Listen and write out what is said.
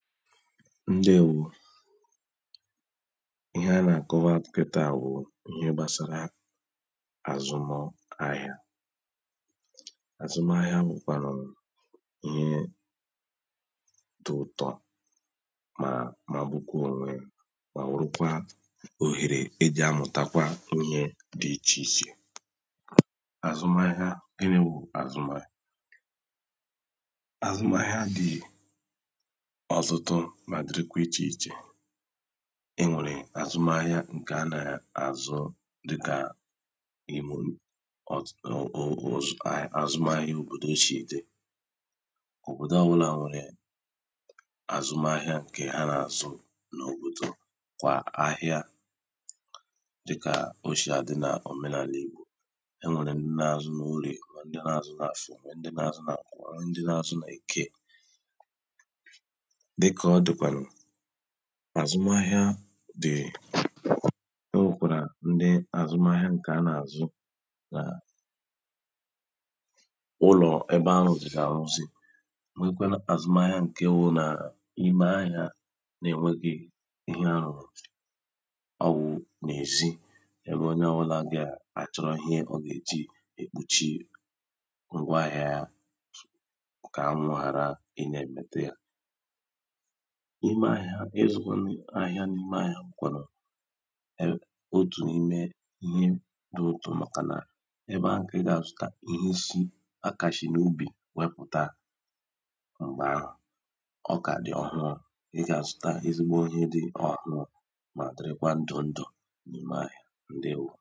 ǹdewō ihe a nà-àkọwa kịta wụ̀ ihe gbasara àzụ m ahịa àzụ m ahịa wụ̀ kwanụ ihe dị ụ̀tọ mà magbukwo ònwe yā mà wụrụ kwa òhèrè ejì amụ̀takwa ihe dị ichè ichè àzụ m ahịa, gịnị wụ̀ àzụ m ahịa àzụ m ahịa dị ọ̀tutu mà dịrị kwa ichè ichè enwèrè àzụ m ahịa ǹke a nà-àzụ dịkà n’imē unù àzụ m ahịa òbòdò shì dị òbòdò ọ wụlà nwèrè àzụ m ahịa ǹkè ha nà-àzụ n’òbòdò kwà ahịa dịkà o shì àdị n’òmenàlà ìgbò enwèrè ndị na-àzụ n’oriè, nwe ndị na-azụ n’àfọ̀, nwe ndị na-àzụ n’ǹkwọ, nwe ndị na-àzụ n’èke dịkà ọ dị̀kwànụ̀ àzụ m ahịa dị o nwekwàrà ndi àzụ m ahịa ǹke ha nà-àzụ na ụlọ̀ ebe arụ̀zìrì àrụzi nwekwanụ àzụ m ahịa ǹke wụ n’imē ahịa n’enwegi ihe arụ̀rụ̀ ọ wụ n’èzi ebe onye ọwụlà gà àchọrụ ihe ọ gà èji èkpochi ngwa ahịa yā kà anwụ̄ hàra ị na-èmetu yā n’imē ahịa ịzụkwanụ ahịa n’imē ahịa wụ̀ kwànụ̀ otù n’imē ihe dị ụ̀tọ màkà nà ebe ahụ̀ kà ị gà àzụta ihe a kà shi n’ubì wepụ̀ta m̀gbè ahụ̀ ọ kà dì ọhụrụ ị gà àzụta ezigbo ihe dị ọ̀hụ mà dịrị kwa ndù ndù n’ime ahịa ǹdewō